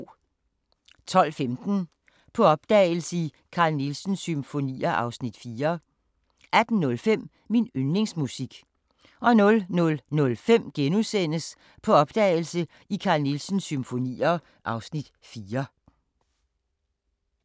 12:15: På opdagelse i Carl Nielsens symfonier (Afs. 4) 18:05: Min yndlingsmusik 00:05: På opdagelse i Carl Nielsens symfonier (Afs. 4)*